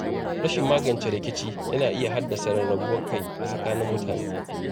Rashin magance rikici yana iya haddasa rarrabuwar kai a tsakanin mutane.